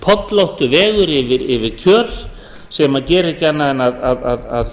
pollóttur vegur yfir kjöl sem gerir ekki annað en að